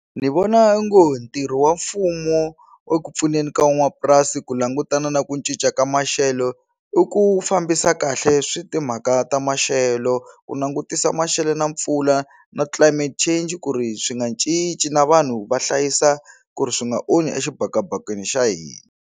Ni vona ongo hi ntirho wa mfumo eku pfuneni ka van'wamapurasi ku langutana na ku cinca ka maxelo i ku fambisa kahle swi timhaka ta maxelo ku langutisa maxelo na mpfula na climate change ku ri swi nga cinci na vanhu va hlayisa ku ri swi nga onhi exibakabakeni xa hina.